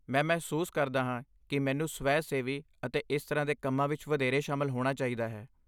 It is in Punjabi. ਮੈਂ ਮਹਿਸੂਸ ਕਰਦਾ ਹਾਂ ਕਿ ਮੈਨੂੰ ਸਵੈ ਸੇਵੀ ਅਤੇ ਇਸ ਤਰ੍ਹਾਂ ਦੇ ਕੰਮਾਂ ਵਿੱਚ ਵਧੇਰੇ ਸ਼ਾਮਲ ਹੋਣਾ ਚਾਹੀਦਾ ਹੈ